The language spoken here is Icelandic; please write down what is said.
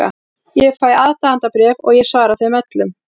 Ég fæ aðdáendabréf og ég svara þeim öllum.